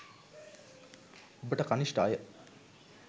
ඔබට කණිෂ්ඨ අය